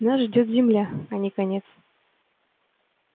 нас ждёт земля а не конец